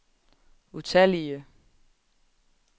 utallige